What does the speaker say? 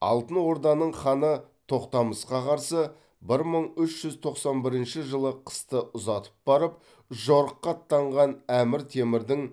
алтын орданың ханы тоқтамысқа қарсы бір мың үш жүз тоқсан бірінші жылы қысты ұзатып барып жорыққа аттанған әмір темірдің